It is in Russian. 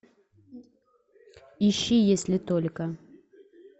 ищи если только